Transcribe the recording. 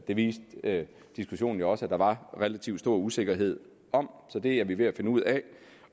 det viste diskussionen jo også at der var relativt stor usikkerhed om så det er vi ved at finde ud af